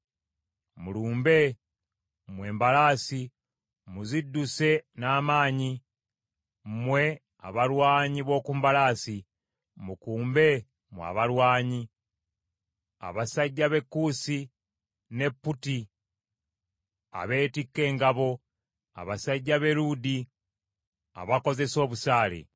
Mulumbe, mmwe embalaasi! Muzidduse n’amaanyi, mmwe abalwanyi b’oku mbalaasi! Mukumbe mmwe abalwanyi, abasajja b’e Kuusi ne Puuti abeettika engabo, abasajja b’e Luudi abakozesa obusaale.